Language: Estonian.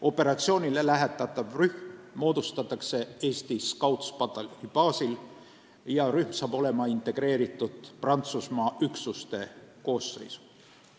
Operatsioonile lähetatav rühm moodustatakse Eestis Scoutspataljoni baasil ja rühm saab olema integreeritud Prantsusmaa üksuste koosseisu.